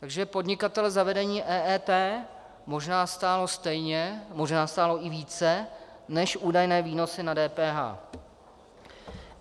Takže podnikatele zavedení EET možná stálo stejně, možná stálo i více než údajné výnosy na DPH.